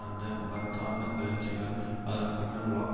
அந்த மகத்தான கிளர்ச்சிகள் அதற்கு பின்னர் உலகம்